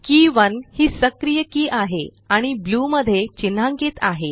के 1 हि सक्रिय की आहे आणि ब्लू मध्ये चिन्हांकित आहे